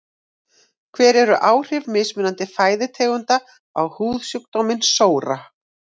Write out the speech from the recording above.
hver eru áhrif mismunandi fæðutegunda á húðsjúkdóminn sóra